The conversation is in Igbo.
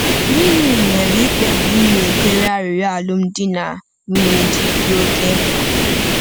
Gịnị mere ikpebi ịnakwere arịrịọ alụmdi na nwunye ji dị oke mkpa?